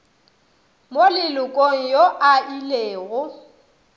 mo lelokong yo a ilego